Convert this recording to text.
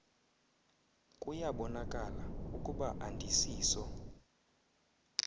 kuyabonakala ukuba andisiso